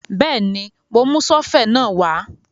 Bẹ́ẹ̀ni, mo mú sọ́fẹ̀ náà wá